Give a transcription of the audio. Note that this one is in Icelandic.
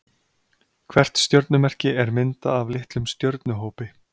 Hvert stjörnumerki er myndað af litlum stjörnuhópi.